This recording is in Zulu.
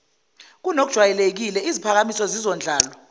kunokujwayelekile iziphakamiso zizondlalwa